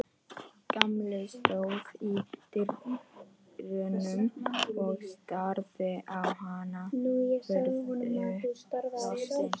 Gamli stóð í dyrunum og starði á hana furðu lostinn.